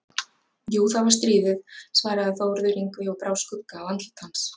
Jú, það var stríðið, svaraði Þórður Yngvi og brá skugga á andlit hans.